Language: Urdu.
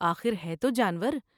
آخر ہے تو جانور ۔